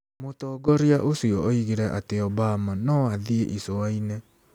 Mũtongoria ũcio oigire atĩ Obama no "athiĩ icua-inĩ".